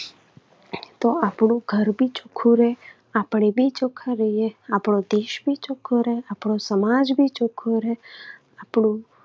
તો આપણું ઘર પણ ચોખ્ખું રહે, આપણે પણ ચોખ્ખા રહીએ, આપણો દેશ પણ ચોખ્ખો રહે, આપણો સમાજ પણ ચોખ્ખો રહે, આપણું